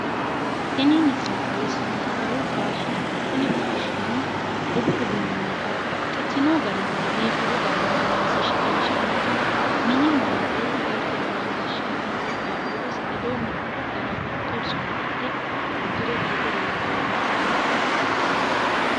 Tini misile xawssannonkehu faashiinete. Tini faashiineno budu uduunne babbaxxitino garinni biifadu garinni loonse shiqinshanninna mini maate galtenna gashshaanni qaaqqullisi ledo mittu gara mittu sona ikke uddire biife leellanno baxisannonna biifannoreeti.